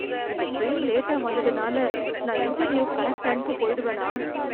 இந்த ட்ரெயின் லேட்டா வந்ததுனால நான் இன்டர்வியூக்கு கரெக்ட் டைமுக்கு போயிடுவேனா?